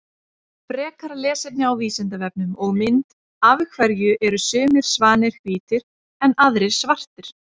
Frekara lesefni á Vísindavefnum og mynd Af hverju eru sumir svanir hvítir en aðrir svartir?